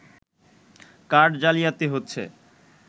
card জালিয়াতি হচ্ছে